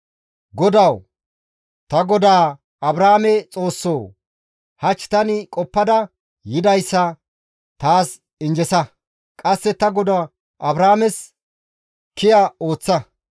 «GODAWU! Ta godaa Abrahaame Xoossoo! Hach tani qoppada yidayssa taas injjesa; qasse ta godaa Abrahaames kiya ooththa.